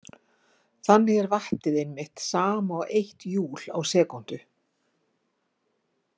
Þannig er vattið einmitt sama og eitt júl á sekúndu.